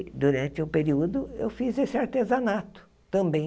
Durante o período, eu fiz esse artesanato também.